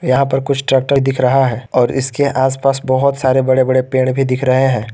यहां पर कुछ ट्रैक्टर दिख रहा है और इसके आस पास बहुत सारे बड़े बड़े पेड़ भी दिख रहे है।